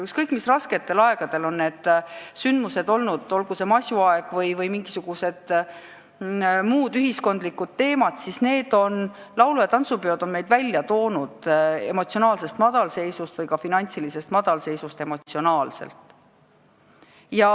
Ükskõik kui rasketel aegadel on need sündmused olnud, olgu see masuaeg või mingisugune ühiskondlikult raske aeg – laulu- ja tantsupeod on meid välja toonud emotsionaalsest madalseisust.